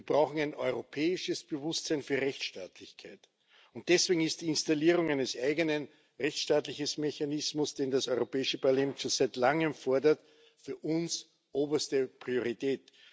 Wir brauchen ein europäisches Bewusstsein für Rechtsstaatlichkeit. Und deswegen hat die Installierung eines eigenen Rechtsstaatlichkeitsmechanismus, den das Europäische Parlament schon seit Langem fordert, für uns oberste Priorität.